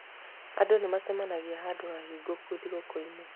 Andũ nĩ maacemanagia handũ hahingũku thigũkũ-inĩ.